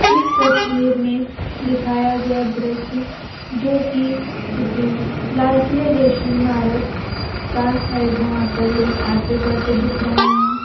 इस तस्वीर में दिखाया गया दृश्य जो कि किसी लाल किले जैसी इमारत का है यहां पर लोग आते जाते दिख रहे हैं।